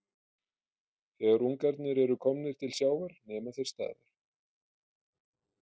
Þegar ungarnir eru komnir til sjávar nema þeir staðar.